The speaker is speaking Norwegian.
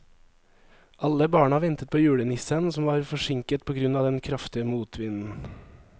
Alle barna ventet på julenissen, som var forsinket på grunn av den kraftige motvinden.